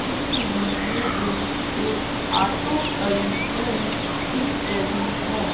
चित्र में मुझे एक ऑटो खड़ी हुई दिख रही है।